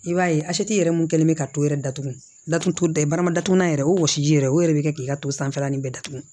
I b'a ye yɛrɛ mun kɛlen bɛ ka to yɛrɛ datugu datuguda barama datugulan yɛrɛ o wɔsi yɛrɛ o yɛrɛ de bɛ kɛ k'i ka to sanfɛla in bɛɛ datugu